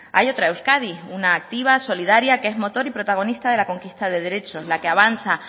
hay otra euskadi una activa solidaria que es motor y protagonista de la conquista de derechos la que avanza